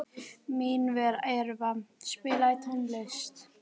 Minerva, spilaðu tónlist.